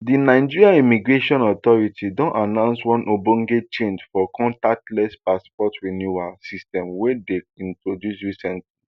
di nigerain immigration authority don announce one ogbonge change for contactless passport renewal system wey dem introduce recently